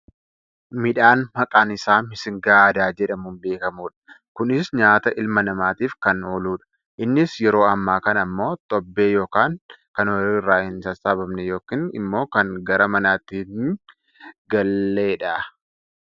Midhaan maqaan isaa missing aadaa jedhamuun beekkamudha. Kunis nyaata ilma namaatiif kan ooluudha. Innis yeroo ammaa kana ammoo tobbee yookaan kan ooyiruu irraa hin sassaabamne yookaan ammoo kan gara manaatti hin galleria.